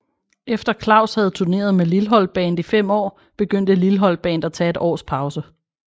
Efter Klaus havde turneret med Lilholt Band i 5 år begyndte Lilholt Band at tage et års pause